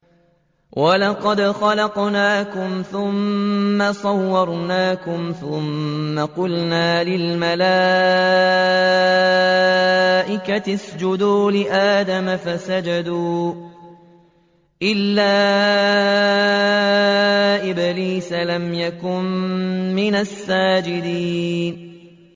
وَلَقَدْ خَلَقْنَاكُمْ ثُمَّ صَوَّرْنَاكُمْ ثُمَّ قُلْنَا لِلْمَلَائِكَةِ اسْجُدُوا لِآدَمَ فَسَجَدُوا إِلَّا إِبْلِيسَ لَمْ يَكُن مِّنَ السَّاجِدِينَ